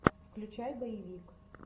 включай боевик